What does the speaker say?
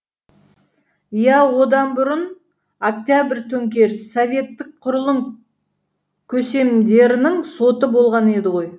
иә одан бұрын октябрь төңкерісі советтік құрылым көсемдерінің соты болған еді ғой